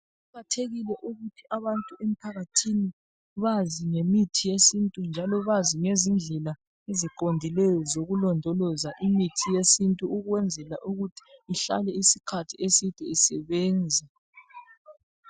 Kuqakathekile ukuthi abantu emphakathini bazi ngemithi yesintu njalo bazi lezindlela eziqondileyo zokulondoloza imithi yesintu ukwenzela ukuthi ihlale isikhathi eside isebenza